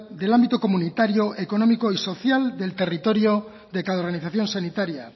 del ámbito comunitario económico y social del territorio de cada organización sanitaria